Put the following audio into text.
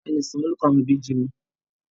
Ọ̀la ni ìsọmọlórúkọ àwọn Ìbejì mi